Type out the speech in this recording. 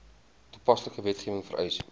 toepaslike wetgewing vereis